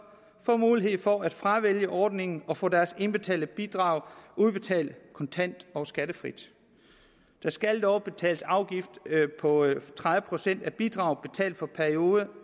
få mulighed for at fravælge ordningerne og få deres indbetalte bidrag udbetalt kontant og skattefrit der skal dog betales en afgift på tredive procent af bidrag betalt for perioden